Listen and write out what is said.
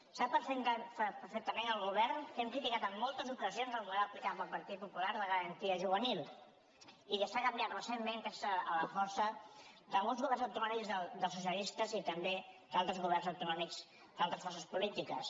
sap perfectament el govern que hem criticat en moltes ocasions el model aplicat pel partit popular de garantia juvenil i que s’ha canviat recentment a la força de molts governs autonòmics dels socialistes i també d’altres governs autonòmics d’altres forces polítiques